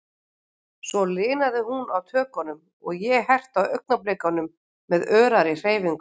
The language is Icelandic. Svo linaði hún á tökunum, og ég herti á augnablikunum með örari hreyfingum.